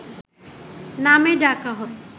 নামে ডাকা হয়